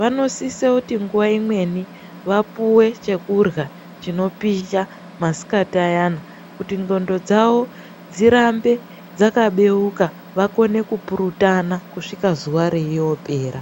vanosisa kuti nguva imweni vapuwe chekurya chinopisha masikati ayana kuti ndxondo dzavo dzirambe dzakabeuka vakone kupurutana kusvika zuwa reiyopera.